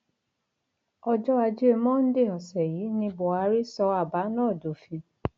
ọjọ ajé monde ọsẹ yìí ní buhari sọ àbá náà dófin